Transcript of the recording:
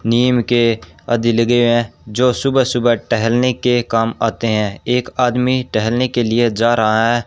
नीम के आधे लगे हुए हैं जो सुबह सुबह टहलने के काम आते हैं एक आदमी टहलने के लिए जा रहा है।